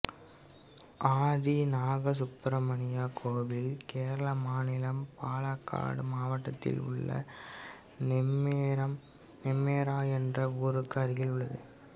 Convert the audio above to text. ஆதி நாகசுப்ரமணியா கோயில் கேரள மாநிலம் பாலக்காடு மாவட்டத்தில் உள்ள நெம்மேரா என்ற ஊருக்கு அருகில் உள்ளது